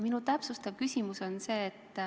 Minu täpsustav küsimus on see.